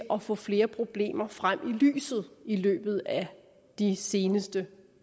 at få flere problemer frem i lyset i løbet af de seneste